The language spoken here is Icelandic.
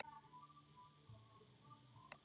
Þú ratar? spurði Stefán.